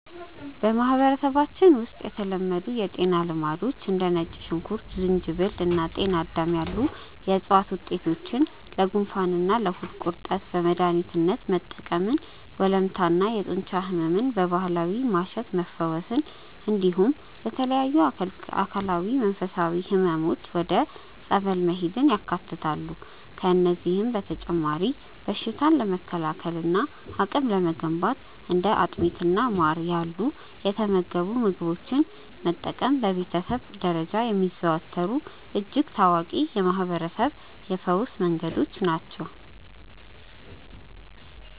በማህበረሰባችን ውስጥ የተለመዱ የጤና ልማዶች እንደ ነጭ ሽንኩርት፣ ዝንጅብል እና ጤናዳም ያሉ የዕፅዋት ውጤቶችን ለጉንፋንና ለሆድ ቁርጠት በመድኃኒትነት መጠቀምን፣ ወለምታና የጡንቻ ሕመምን በባህላዊ ማሸት መፈወስን፣ እንዲሁም ለተለያዩ አካላዊና መንፈሳዊ ሕመሞች ወደ ጸበል መሄድን ያካትታሉ። ከእነዚህም በተጨማሪ በሽታን ለመከላከልና አቅም ለመገንባት እንደ አጥሚትና ማር ያሉ የተመገቡ ምግቦችን መጠቀም በቤተሰብ ደረጃ የሚዘወተሩ እጅግ ታዋቂ የማህርበረሰብ የፈውስ መንገዶች ናቸው።